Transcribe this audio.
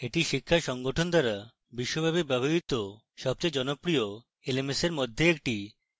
এটি শিক্ষা প্রতিষ্ঠান দ্বারা বিশ্বব্যাপী ব্যবহৃত সবচেয়ে জনপ্রিয় lms এর একটি